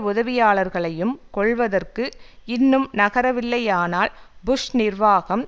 உதவியாளர்களையும் கொல்வதற்கு இன்னும் நகரவில்லையானால் புஷ் நிர்வாகம்